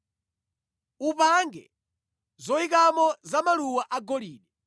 Upange zoyikamo za maluwa agolide,